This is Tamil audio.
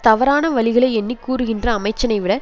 தவறான வழிகளை எண்ணி கூறுகின்ற அமைச்சனை விட